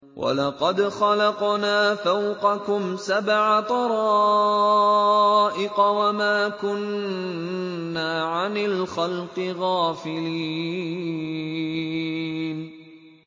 وَلَقَدْ خَلَقْنَا فَوْقَكُمْ سَبْعَ طَرَائِقَ وَمَا كُنَّا عَنِ الْخَلْقِ غَافِلِينَ